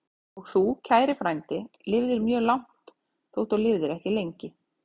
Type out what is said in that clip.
Og þú, kæri frændi, lifðir mjög langt, þótt þú lifðir ekki lengi.